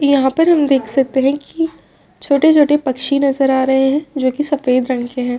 यहाँ पर हम देख सकते हैं की छोटे-छोटे पक्षी नजर आ रहे हैं जोकि सफ़ेद रंग के हैं।